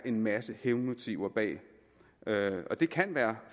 en masse hævnmotiver bag det kan være